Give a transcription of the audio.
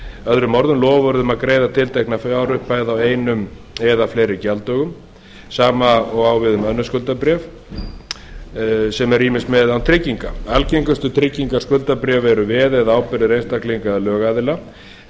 öðrum orðum loforð um að greiða tiltekna fjárupphæð á einum eða fleiri gjalddögum sama og á við um önnur skuldabréf sem eru ýmist með eða án tryggingar algengustu tryggingaskuldabréf eru veð eða ábyrgðir einstaklinga eða lögaðila en